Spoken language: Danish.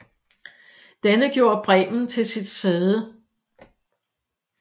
Denne gjorde Bremen til sit sæde